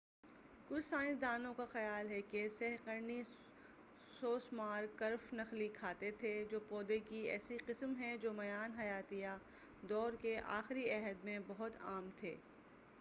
کچھ سائنسدانوں کا خیال ہے کہ سہ قرنی سوسمار کرف نخلی کھاتے تھے جو پودے کی ایسی قسم ہیں جو میان حیاتیہ دور کے آخری عہد میں بہت عام تھے